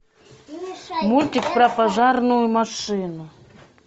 мультик про пожарную машину